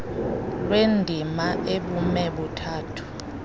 lwendima ebume buthathu